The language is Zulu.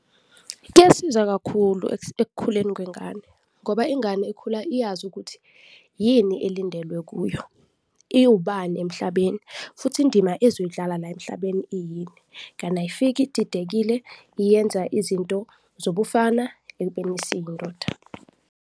Kuyasiza kakhulu ekukhuleni kwengane ngoba ingane ikhula iyazi ukuthi yini elindelwe kuyo, iwubani emhlabeni futhi indima ezoyidlala la emhlabeni iyini, kani ayifiki ididekile, iyenza izinto zobufana ekubeni isiyindoda.